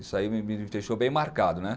Isso aí me me deixou bem marcado, né?